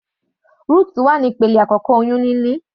Rutu wà ní ìpele àkọ́kọ́ oyún níní.